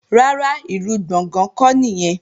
Rárá, ìlú Gbọ̀ngán kọ́ nìyẹn